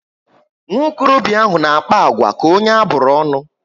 Nwokorobia ahụ na akpa agwa ka onye aburu ọṅụ